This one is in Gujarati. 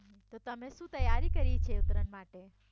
તો તમે શું તૈયારી કરી છે ઉતરાયણ માટે